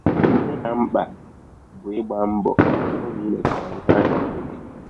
Ihe ka mkpa bụ ịgba mbọ hụ hụ na i mechara ihe ahụ i kpebiri.